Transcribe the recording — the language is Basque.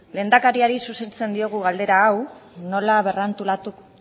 lehendakariari zuzentzen diogu galdera hau nola berrantolatu